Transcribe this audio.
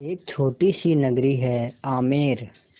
एक छोटी सी नगरी है आमेर